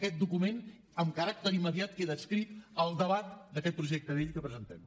aquest document amb caràcter immediat queda adscrit al debat d’aquest projecte de llei que presentem